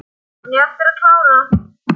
En ég á eftir að klára.